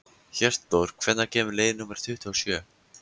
Hjörtþór, hvenær kemur leið númer tuttugu og sjö?